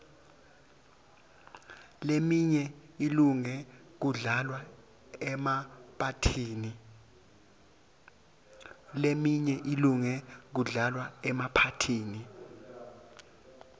leminye ilunge kudlalwa emaphathini